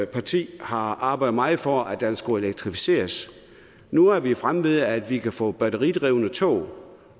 parti jo har arbejdet meget for skulle elektrificeres nu er fremme ved at vi kan få batteridrevne tog